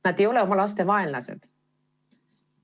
Nad ei ole oma laste vaenlased.